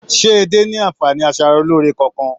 Se edé ní anfààní asaraloore kánkan?